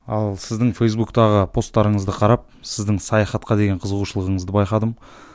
ал сіздің фейсбуктағы постарыңызды қарап сіздің саяхатқа деген қызығушылығыңызды байқадым